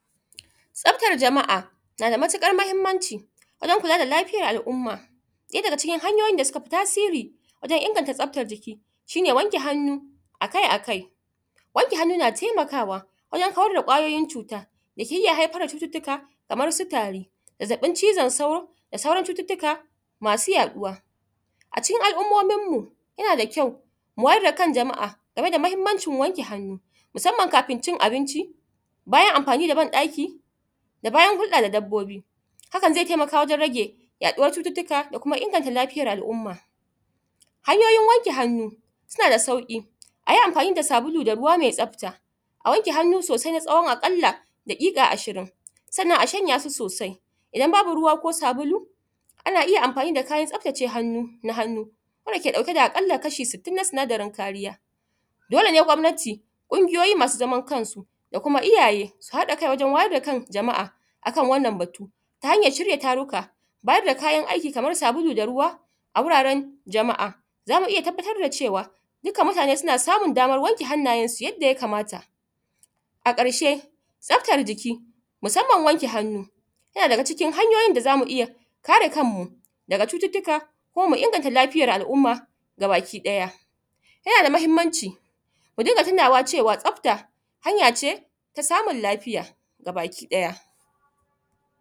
Tsaftar jama'a nada matuƙar mahimmanci wajen kula da lafiyan al umma ɗaya daga cikin hanyoyin da suke da tasiri wajen inganta tsafta jiki shine wanke hannu akai akai. Wanke hannu akai akai na taimakawa wajen kawar da kwayoyin cuta dake iyya haifar da cututtuka kaman su tari, zazzabin cizon sauro da sauran cututtuka masu yaɗuwa. A cikin al ummominmu ya nada kyau mu wayar dakan jama'a akan mahimmancin wanke hannu, musamman kafin cin abinci, bayan amfani daban ɗakin da bayan hudda da dabbobi. Hakan zai taimaka wajen rage yaduwar cututtuka da kuma inganta lafiyar al umma. Hanyoyin wanke hannu su nada sauƙi ayi amfani da sabulu da ruwa mai tsafta, a wanke hannu sosai na tsawon a kalla dakika ashirin, sannan a shanya su sosai idan babu ruwa ko sabulu ana iyya amfani da kayan tsaftace hannu na hannu, dake ɗauke da a ƙalla kashi sittin na sinadarin kariya. Dole ne gwamnati kungiyoyi masu zaman kansu su haɗa kai wajen wayar da kan jama'a a kan wannan batu tare da ta hanyar shirya taruka. Bada kayan aiki kaman sabulu, ruwa a wurare jama'a tare da tabbatar da cewa duka mutane suna samun daman wanke hannaye su yadda ya kamata. A ƙarshe tsaftar jiki musamman wanke hannu yana daga cikin hanyoyin da zamu iyya kare kanmu daga cututtuka kuma mu inganta lafiyar al umma gabaki ɗaya. Ya nada mahimmanci mudinga tunawa cewa tsafta hanya ce na inganra lafiya gabaki ɗaya.